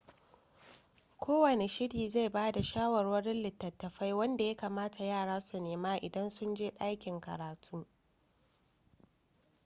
kowane shirin zai ba da shawarwarin littattafa wanda ya kamata yara su nema idan sun je ɗakin karatu